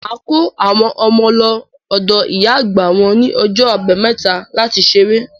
Màá kó àwọn ọmọ lọ ọ̀dọ̀ ìyá àgbà wọ́n ní ọjọ́ Àbámẹ́ta láti ṣeré.